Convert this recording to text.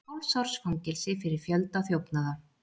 Hálfs árs fangelsi fyrir fjölda þjófnaða